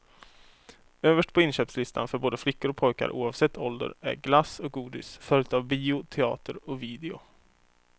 Överst på inköpslistan för både flickor och pojkar oavsett ålder är glass och godis följt av bio, teater och video.